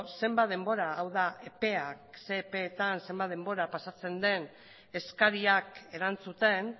zenbat denbora hau da epeak zein epeetan pasatzen den eskariak erantzuten